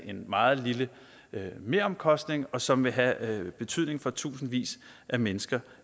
en meget lille meromkostning og som vil have betydning for tusindvis af mennesker